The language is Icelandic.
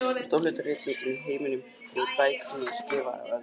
Stór hluti rithöfunda í heiminum gefur út bækur sem eru skrifaðar af öðrum.